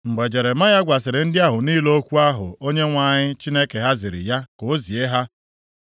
Mgbe Jeremaya gwasịrị ndị ahụ niile okwu ahụ Onyenwe anyị Chineke ha ziri ya ka o zie ha,